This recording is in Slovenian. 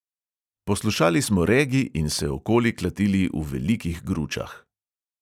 Poslušali smo regi in se okoli klatili v velikih gručah.